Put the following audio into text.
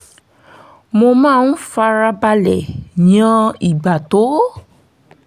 mo máa ń fara balẹ̀ yan ìgbà tó